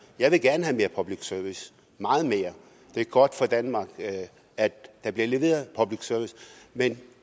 jeg vil gerne have mere public service meget mere det er godt for danmark at der bliver leveret public service men